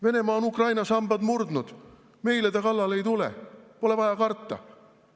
Venemaa on Ukraina sambad murdnud, meile ta kallale ei tule, pole vaja karta.